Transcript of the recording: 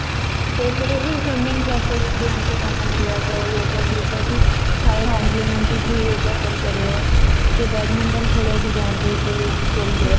ସେପଟେ ବି seaming class ଧ୍ୟାନ ସେ ସେମାନେ yoga ସହିତ ବି ଥାଏ କି yoga କରି ପାରିବ କିଏ badminton ଖେଳିବାକୁ ଯାନ୍ତି ସେଇ field ରେ